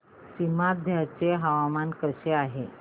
सीमांध्र चे हवामान कसे आहे